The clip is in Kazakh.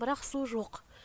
бірақ су жоқ